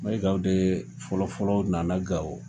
Mayigaw de fɔlɔfɔlɔ nana Gawo!